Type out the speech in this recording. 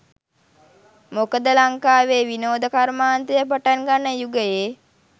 මොකද ලංකාවෙ විනෝද කර්මාන්තය පටන් ගන්න යුගයේ.